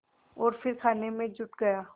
और फिर खाने में जुट गया